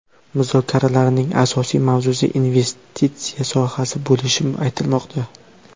Muzokaralarning asosiy mavzusi investitsiya sohasi bo‘lishi aytilmoqda.